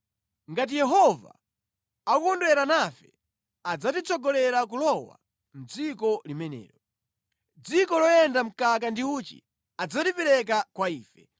Ngati Yehova akukondwera nafe, adzatitsogolera kulowa mʼdziko limenelo. Dziko loyenda mkaka ndi uchi adzalipereka kwa ife,